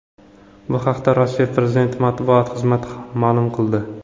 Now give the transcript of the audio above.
Bu haqda Rossiya prezidenti matbuot xizmati ma’lum qildi .